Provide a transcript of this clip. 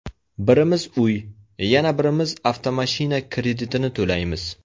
Birimiz uy, yana birimiz avtomashina kretidini to‘laymiz.